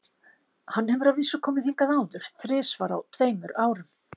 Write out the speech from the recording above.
Hann hefur að vísu komið hingað áður, þrisvar á tveimur árum.